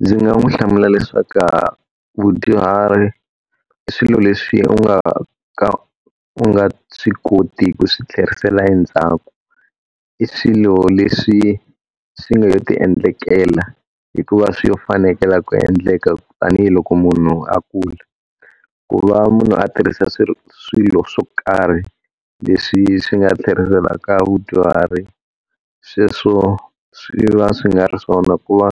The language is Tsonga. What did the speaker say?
Ndzi nga n'wi hlamula leswaku va vadyuhari i swilo leswi u nga ka u nga swi koti ku swi tlherisela endzhaku. I swilo leswi swi nga lo ti endlekela hikuva swi lo fanekela ku endleka tanihiloko munhu a kula. Ku va munhu a tirhisa swiro swilo swo karhi leswi swi nga tlheriselaka vadyuhari, sweswo swi va swi nga ri swona ku va